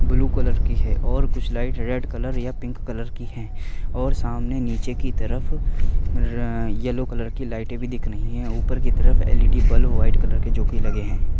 Blue colour की है और कुछ लाईट रेड कलर या पिंक कलर की है और सामने निचे की तरफ र यल्लो कलर की लाईट भी दिख रही है ऊपर की तरफ एलइडी बल्ब वाईट कलर के जोके लगे है।